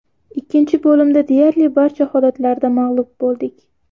Ikkinchi bo‘limda deyarli barcha holatlarda mag‘lub bo‘ldik.